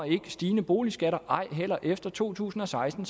ikke stigende boligskatter som ej heller efter to tusind og seksten